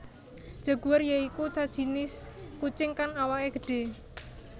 Jaguar ya iku sajinis kucing kang awaké gedhé